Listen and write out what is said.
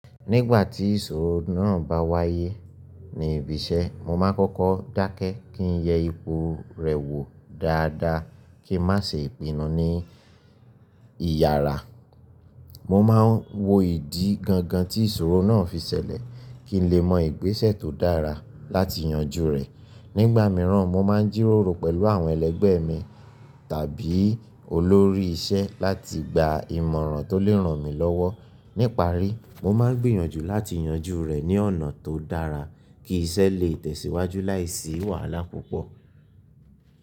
Nígbà tí ìṣòro náà bá wáyé ní ibi iṣẹ́, mo máa kọ́kọ́ dákẹ́ kí n yẹ ipò rẹ̀ wò dáadáa kí n má ṣe ipin nu ní ìyàrá. Mo máa ń wo ìdí gangan tí ìṣòro náà fi ṣẹlẹ̀ kí n lè mọ ìgbésẹ̀ tó dára láti yanjú rẹ̀. Nígbà mìíràn, mo máa ń jíròrò pẹ̀lú àwọn ẹlẹgbẹ́ mi tàbí olórí iṣẹ́ láti gba ìmọ̀ràn tó lè ràn mí lọ́wọ́. Níparí, mo máa ń gbìyànjú láti yanjú rẹ̀ ní ọ̀nà tó dára kí iṣẹ́ lè tẹ̀síwájú láìsí wàhálà púpọ̀.